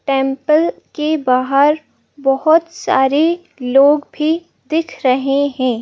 Temple के बाहर बहुत सारे लोग भी दिख रहे हैं।